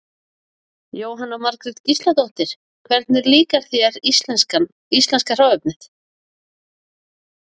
Jóhanna Margrét Gísladóttir: Hvernig líkar þér íslenska hráefnið?